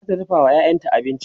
zata dafawa ƴaƴanta abinci